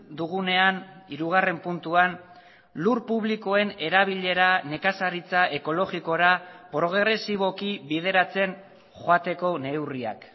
dugunean hirugarren puntuan lur publikoen erabilera nekazaritza ekologikora progresiboki bideratzen joateko neurriak